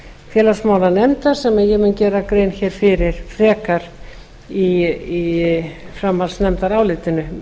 félagsmálanefndar sem ég mun gera grein hér fyrir frekar í framhaldsnefndarálitinu